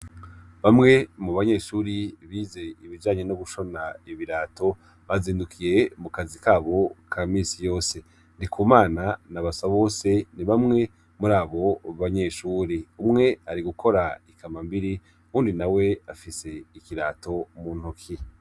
Bamwe mu banyeshure bize ibijanye no gushona ibirato, bazindukiye mu kazi k'abo ka misi yose .Ndikumana na Basabose, ni bamwe muri abo banyeshure. Umwe ari gukora ikambambiri ,uwundi nawe afise ikirato mu ntoki.